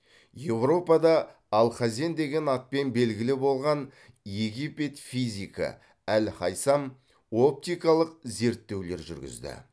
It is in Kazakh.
еуропада алхазен деген атпен белгілі болған египет физигі әл хайсам оптикалық зерттеулер жүргізді